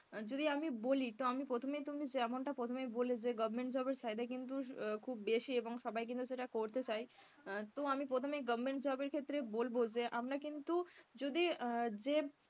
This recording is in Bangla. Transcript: যদি আমি বলি তো আমি প্রথমেই তুমি যেমনটা প্রহমেই বললে যে government job এর চাহিদা কিন্তু খুব বেশি এবং সবাই কিন্তু সেটা করতে চায় আহ তো আমি প্রথমেই government job এর ক্ষেত্রে বলবো যে আমরা কিন্তু যদি আহ যে,